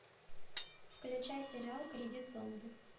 включай сериал кредит зомби